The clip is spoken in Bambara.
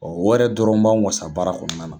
wɛrɛ dɔrɔn b'anw wasa barara kɔnɔna na.